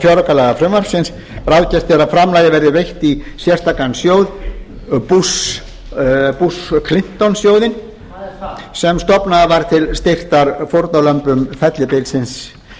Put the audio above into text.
fjáraukalagafrumvarpsins ráðgert er að framlagið verði veitt í sérstakan sjóð bush clinton sjóðinn sem stofnaður var til styrktar fórnarlömbum fellibylsins